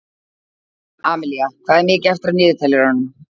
Amilía, hvað er mikið eftir af niðurteljaranum?